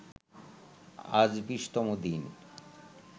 আজ ২০তম দিন